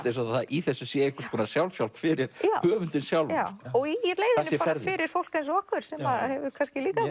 eins og í þessu sé einhvers konar sjálfshjálp fyrir höfundinn sjálfan og í leiðinni fyrir fólk eins og okkur sem hefur líka